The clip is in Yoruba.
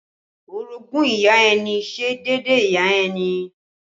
Orogún ìyá ẹni ṣe déédéé ìyá ẹni